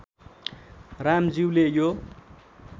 राम ज्युले यो